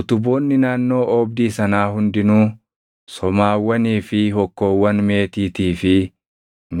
Utuboonni naannoo oobdii sanaa hundinuu somaawwanii fi hokkoowwan meetiitii fi